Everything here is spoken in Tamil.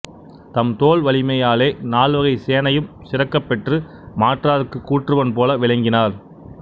தம் தோள்வலிமையாலே நால்வகைச் சேனையும் சிறக்கப்பெற்று மாற்றார்க்குக் கூற்றுவன் போல விளங்கினார்